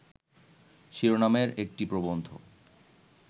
শিরোনামের একটি প্রবন্ধ